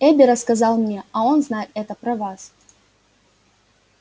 эби рассказал мне а он знает это про вас